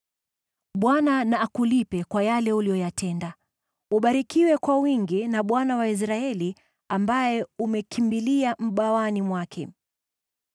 Bwana na akulipe kwa yale uliyoyatenda. Ubarikiwe kwa wingi na Bwana , Mungu wa Israeli, ambaye umekimbilia mabawani mwake.”